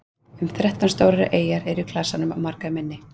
um þrettán stórar eyjar eru í klasanum og margar minni